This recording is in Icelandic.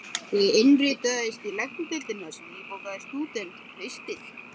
Ég innritaðist í Læknadeildina sem nýbakaður stúdent haustið